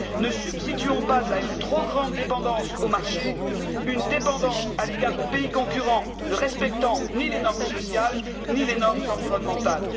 Ne substituons pas à une trop grande dépendance au marché une dépendance à l'égard de pays concurrents ne respectant ni les normes sociales, ni les normes environnementales.